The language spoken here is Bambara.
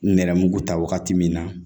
Nɛrɛmugu ta wagati min na